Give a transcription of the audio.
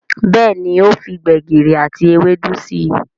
Béèni o fí gbegiri àti Ewédú sí.